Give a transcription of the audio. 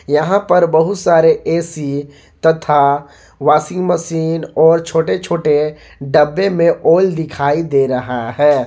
यहां पर बहुत सारे ए_सी तथा वाशिंग मशीन और छोटे छोटे डब्बे में आयल दिखाई दे रहा है।